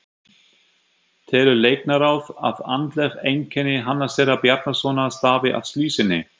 Telur Læknaráð, að andleg einkenni Hannesar Bjarnasonar stafi af slysinu?